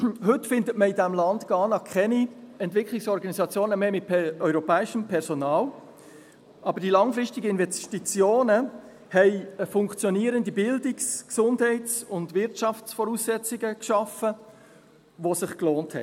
Heute findet man in diesem Land Ghana keine Entwicklungsorganisationen mehr mit europäischem Personal, aber die langfristigen Investitionen haben funktionierende Bildungs-, Gesundheits- und Wirtschaftsvoraussetzungen geschaffen, die sich gelohnt haben.